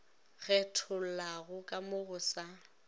kgethollago ka mo go sa